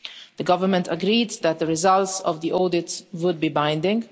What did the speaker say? The government agreed that the results of the audit would be binding.